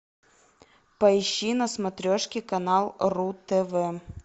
поищи на смотрешке канал ру тв